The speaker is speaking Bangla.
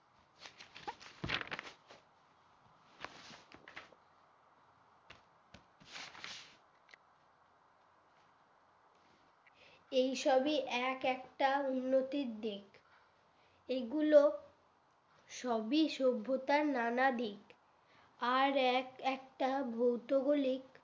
এই সবই এক একটা উন্নতির দিক এগুলো সবই সভ্যতার নানা দিক আর এক একটা ভৌতগলিক